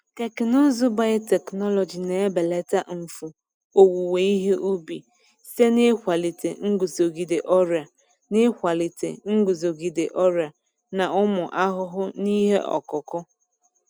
Teknụzụ biotechnology na-ebelata mfu owuwe ihe ubi site n’ịkwalite nguzogide ọrịa n’ịkwalite nguzogide ọrịa na ụmụ ahụhụ n’ihe ọkụkụ.